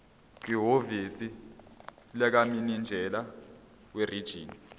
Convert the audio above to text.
kwihhovisi likamininjela werijini